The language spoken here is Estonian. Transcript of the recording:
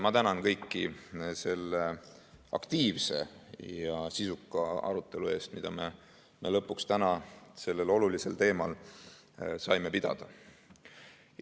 Ma tänan kõiki selle aktiivse ja sisuka arutelu eest, mida me lõpuks täna sellel olulisel teemal saime pidada.